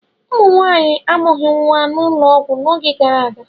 Ụmụ Nwaanyị amụghị nwa n'ụlọọgwụ n'oge gara aga.